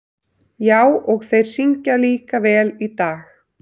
Já, og þeir syngja líka vel í dag.